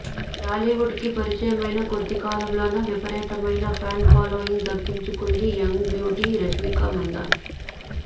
టాలీవుడ్ కి పరిచయమైన కొద్దికాలంలోనే విపరీతమైన ఫ్యాన్ ఫాలోయింగ్ దక్కించుకుంది యంగ్ బ్యూటీ రష్మిక మందాన